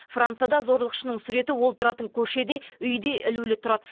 францияда зорлықшының суреті ол тұратын көшеде үйде ілулі тұрады